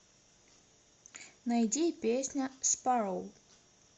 найди песня спароу